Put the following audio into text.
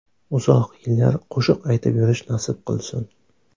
Uzoq yillar qo‘shiq aytib yurish nasib qilsin.